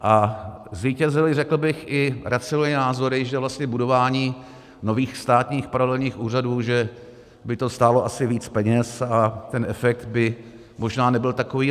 A zvítězily, řekl bych, i racionální názory, že vlastně budování nových státních paralelních úřadů, že by to stálo asi víc peněz a ten efekt by možná nebyl takový.